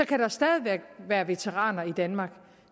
kan der stadig væk være veteraner i danmark